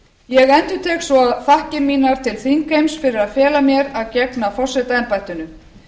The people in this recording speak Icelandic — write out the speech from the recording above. ég endurtek svo þakkir mínar til þingheims fyrir að fela mér að gegna forsetaembættinu